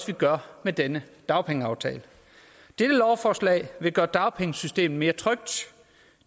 vi gør med denne dagpengeaftale dette lovforslag vil gøre dagpengesystemet mere trygt